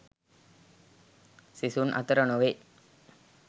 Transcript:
සිසුන් අතර නොවේ.